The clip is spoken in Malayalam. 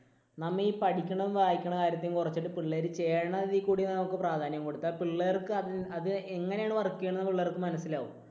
നമ്മ ഈ പഠിക്കണതും വായിക്കണ കാര്യത്തെയും കുറച്ചിട്ട് പിള്ളേര് ചെയ്യണതിൽ കൂടി നമുക്ക് പ്രാധാന്യം കൊടുത്താൽ പിള്ളേർക്ക് അത് അത് എങ്ങനെയാണ് work ചെയ്യണതെന്ന് പിള്ളേർക്ക് മനസ്സിലാകും.